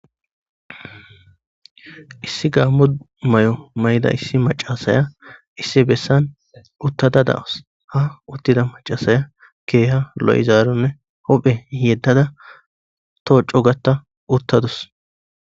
issi gaammo may7o mayda issi macasaya issi bessan uttada daus ha uttida macasaya keeha lo7izaaronne hophe yeddada too cogata uttadus